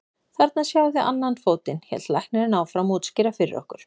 Þarna sjáið þið annan fótinn, hélt læknirinn áfram að útskýra fyrir okkur.